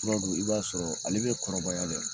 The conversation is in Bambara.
Tura dun, i b'a sɔrɔ ale bɛ kɔrɔbaya dɛ.